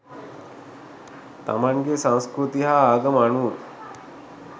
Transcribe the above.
තමන්ගේ සංස්කෘතිය හා ආගම අනුව